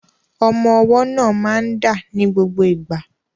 Ọmọ ọwọ́ náà máa ń dà ní gbogbo ìgbà.